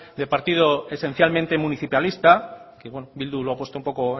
de partido esencialmente municipalista que bildu lo ha puesto un poco